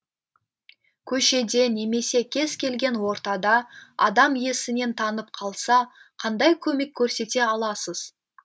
көшеде немесе кез келген ортада адам есінен танып қалса қандай көмек көрсете аласыз